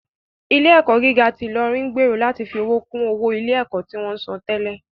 Ilé ẹ̀kọ́ gíga ti Ilorin ń gbèrò láti fi owó kún owó ilé ẹ̀kọ́ tí wọ́n ń san tẹ́lẹ̀